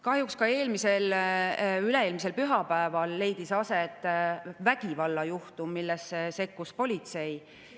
Kahjuks ka üle-eelmisel pühapäeval leidis aset vägivallajuhtum, millesse sekkus politsei …